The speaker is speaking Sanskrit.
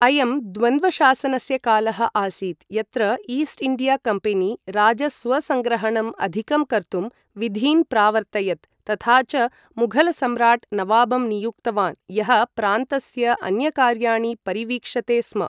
अयं द्वन्द्वशासनस्य कालः आसीत् यत्र ईस्ट् इण्डिया कम्पेनि राजस्वसङ्ग्रहणम् अधिकं कर्तुं विधीन् प्रावर्तयत् तथा च मुघलसम्राट् नवाबं नियुक्तवान् यः प्रान्तस्य अन्यकार्याणि परिवीक्षते स्म।